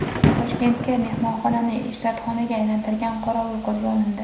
Toshkentda mehmonxonani ishratxonaga aylantirgan qorovul qo‘lga olindi.